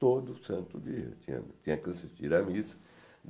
Todo santo dia tinha tinha que assistir à missa.